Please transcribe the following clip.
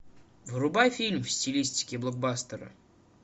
врубай фильм в стилистике блокбастера